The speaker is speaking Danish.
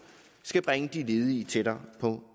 skal bringe de ledige tættere på